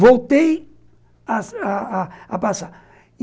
Voltei a a a passar e